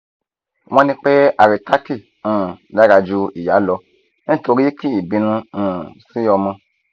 won ni pe haritaki um dara ju iya lo nitori ki i binu um si omo